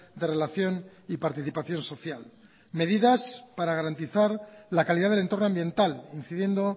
de relación y participación social medidas para garantizar la calidad del entorno ambiental incidiendo